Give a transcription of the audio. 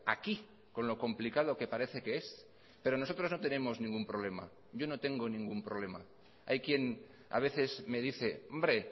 aquí con lo complicado que parece que es pero nosotros no tenemos ningún problema yo no tengo ningún problema hay quien a veces me dice hombre